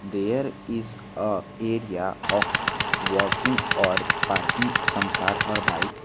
There is a area of walking or parking some car or bike.